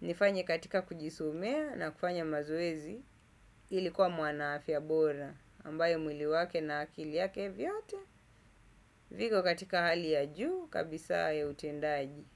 nifanye katika kujisumea na kufanya mazuizi nilikuwa mwanaafya bora ambaye mwili wake na akili yake vyote, viko katika hali ya juu kabisa ya utendaji.